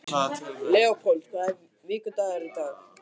Leópold, hvaða vikudagur er í dag?